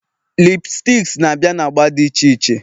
lipsticks na-abịa na agba dị iche iche